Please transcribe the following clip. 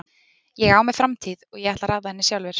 Ég á mér framtíð og ég ætla að ráða henni sjálfur.